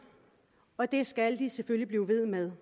og det skal de selvfølgelig blive ved med